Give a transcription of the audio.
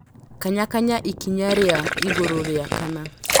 Kanyakanya ikinya rĩa igũrũ rĩa kana .